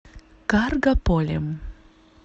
каргополем